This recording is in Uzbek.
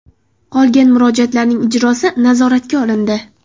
Qolgan murojaatlarning ijrosi nazoratga olindi.